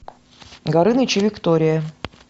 горыныч и виктория